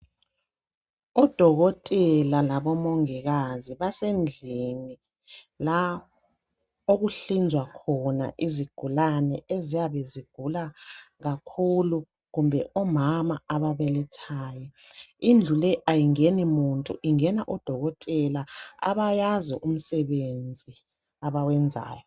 Udokotela labomongikazi. Basendlini la okuhlinzwa khona izigulane eziyabe zigula kakhulu. Kumbe omama ababelethayo. Indlu le kayingeni muntu. Ingena odokotela abayazi umsebenzi ebawenzayo.